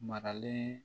Maralen